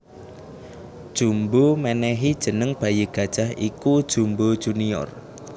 Jumbo mènèhi jeneng bayi gajah iku Jumbo Jr